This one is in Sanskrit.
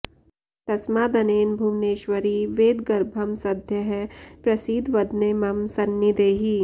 तस्मादनेन भुवनेश्वरि वेदगर्भं सद्यः प्रसीद वदने मम सन्निधेहि